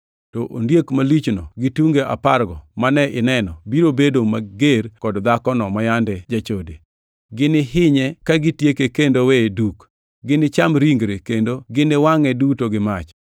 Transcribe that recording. To ondiek malichno gi tunge apargo mane ineno biro bedo mager kod dhakono ma jachode. Ginihinye kagitieke kendo weye duk; ginicham ringre, kendo giniwangʼe duto gi mach.